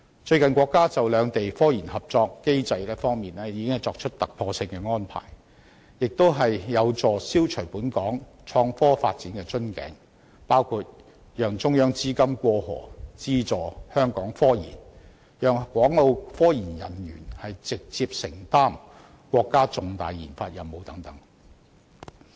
最近國家就兩地科研合作機制作出突破性安排，這亦有助消除本港創科發展的瓶頸，包括讓中央資金"過河"資助香港科研、讓港澳科研人員直接承擔國家重大研發任務等。